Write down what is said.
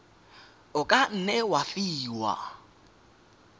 o ka nne wa fiwa